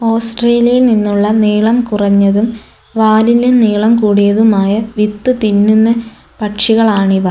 ഓസ്ട്രേലിയയിൽ നിന്നുള്ള നീളം കുറഞ്ഞതും വാലിന് നീളം കൂടിയതുമായ വിത്ത് തിന്നുന്ന പക്ഷികളാണ് ഇവ.